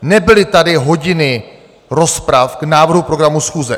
Nebyly tady hodiny rozprav k návrhu programu schůze.